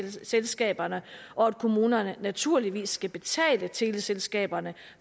teleselskaberne og at kommunerne naturligvis skal betale teleselskaberne